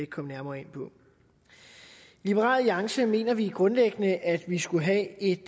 komme nærmere ind på i liberal alliance mener vi grundlæggende at vi skulle have et